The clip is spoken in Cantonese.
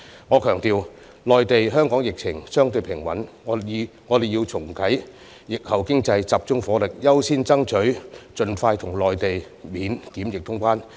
我想強調，鑒於內地和香港的疫情相對平穩，我們要重啟疫後經濟便要集中火力，優先爭取盡快跟內地恢復免檢疫通關。